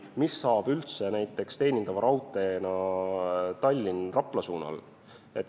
Mis saab üldse näiteks Tallinna–Rapla liini teenindavast raudteest?